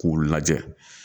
K'u lajɛ